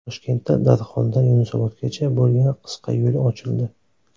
Toshkentda Darxondan Yunusobodgacha bo‘lgan qisqa yo‘l ochildi.